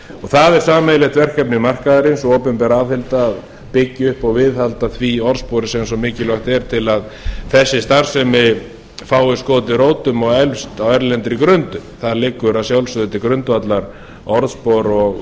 það er sameiginlegt verkefni markaðarins opinber og bygging að viðhalda því orðspori sem svo mikilvægt er til að þessi starfsemi fái skotið rótum og eflst á erlendri grundu þar liggur að sjálfsögðu til grundvallar orðspor